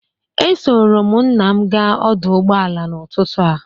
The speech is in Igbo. Esoro m nna m gaa ọdụ ụgbọala n'ụtụtụ a.